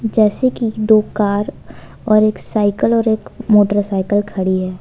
जैसे कि दो कार और एक सायकल और एक मोटरसाइकिल खड़ी है।